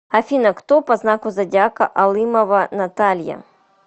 афина кто по знаку зодиака алымова наталья